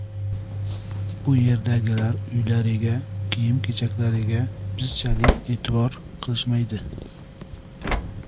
Bu yerdagilar uylariga, kiyim-kechaklariga bizchalik e’tibor qilishmaydi.